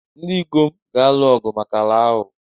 Ndị ikom ga-alụ ọgụ maka ala ahụ.